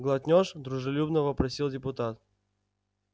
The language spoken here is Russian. глотнёшь дружелюбно вопросил депутат